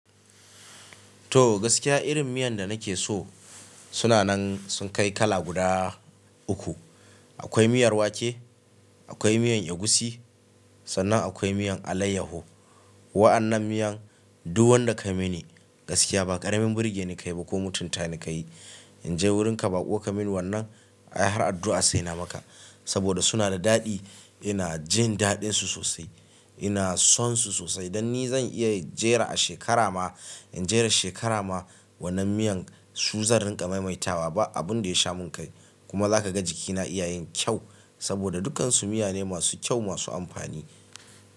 To gaskiya irin miyan da nake so, suna nan sun kai kala guda uku. Akwai miyar wake, akwai miyan egusi sannan akwai miyan alayyaho. Wa'annan miyan duk wanda kayi mini gaskiya ba ƙaramin birge ni ka yi ba ko mutunta ni ka yi. In je wurinka baƙo ka min wannan har addu'a sai na maka. Saboda suna da daɗi ina jin daɗinsu sosai. Ina son su sosai. Dan ni zan iya jera a shekara ma in jera shekara ma wannan miyan su zan rinƙa maimaita wa ba abun da ya sha mun kai. Kuma za ka ga jikina iya yin kyau saboda dukkansu miya ne masu kyau masu amfani.